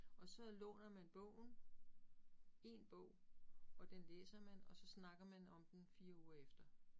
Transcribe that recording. Og så låner man bogen, én bog og den læser man, og så snakker man om den 4 uger efter